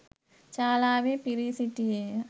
ශාලාවේ පිරී සිටියේ ය.